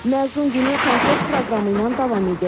Məzun günü konsert proqramı ilə davam edir.